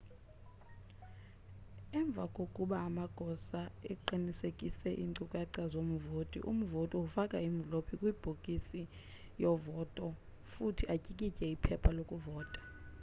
emva koba amagosa eqinisekise iincukaca zomvoti umvoti ufake imvlophu kwibhokisi yovota futhi atyikitye iphepha lokuvota